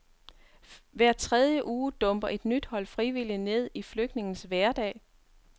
Hver tredje uge dumper et nyt hold frivillige ned i flygtningenes hverdag.